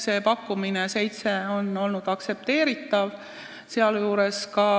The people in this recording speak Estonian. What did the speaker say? See pakkumine – seitse liiget – on olnud aktsepteeritav.